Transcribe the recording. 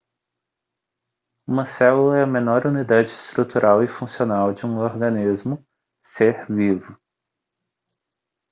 uma célula é a menor unidade estrutural e funcional de um organismo ser vivo